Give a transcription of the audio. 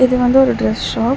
இது வந்து ஒரு ட்ரஸ் ஷாப் .